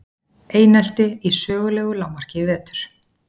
Einelti í sögulegu lágmarki í vetur